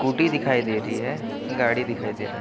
दिखाई दे रही है गाड़ी दिखाई दे रहा है |